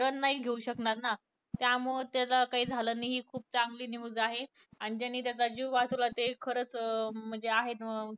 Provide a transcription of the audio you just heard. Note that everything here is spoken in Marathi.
run नाही घेऊ शकनार ना त्यामळे त्याला काही झालं नाही हि खुप चांगली news आहे आणि ज्यांनी त्याच जीव वाचवला ते खरच अं म्हणजे आहे